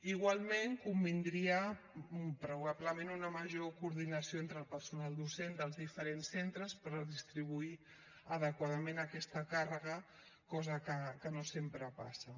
igualment convindria probablement una major coordinació entre el personal docent dels diferents centres per distribuir adequadament aquesta càrrega cosa que no sempre passa